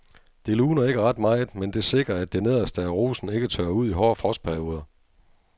Det luner ikke ret meget, men det sikrer at det nederste af rosen ikke tørrer ud i hårde frostperioder.